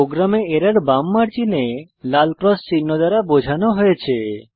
প্রোগ্রামে এরর বাম মার্জিনে লাল ক্রস চিহ্ন দ্বারা বোঝানো হয়েছে